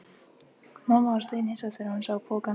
Mamma varð steinhissa þegar hún sá pokann.